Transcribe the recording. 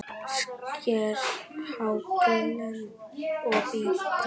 Sker haglél og bítur.